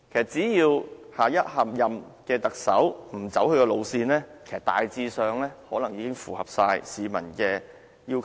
只要下任特首不走他的路線，其實大致上已經符合市民的要求。